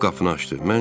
O qapını açdı.